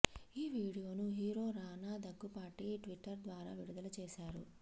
ఈ వీడియోను hero Rana Daggubati Twitter ద్వారా విడుదల చేశారు